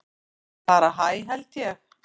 Bara hæ held ég.